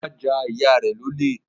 Ọlá ja ìyá rẹ̀ lólè